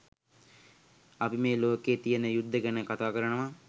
අපි මේ ලෝකයේ තියෙන යුද්ධ ගැන කතා කරනවා.